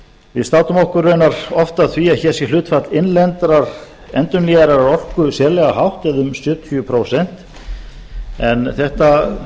við státum okkur raunar oft af því að hér sé hlutfall innlendrar endurnýjanlegrar orku sérlega hátt eða um sjötíu prósent en þetta